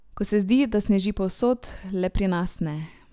Ko se zdi, da sneži povsod, le pri nas ne.